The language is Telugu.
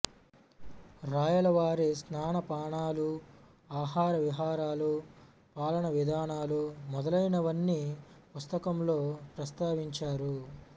రాయల వారి స్నానపానాలు ఆహార విహారాలు పాలనా విధానాలు మొదలైనవన్నీ పుస్తకంలో ప్రస్తావించారు